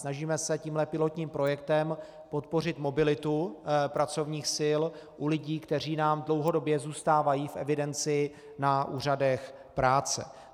Snažíme se tímhle pilotním projektem podpořit mobilitu pracovních sil u lidí, kteří nám dlouhodobě zůstávají v evidenci na úřadech práce.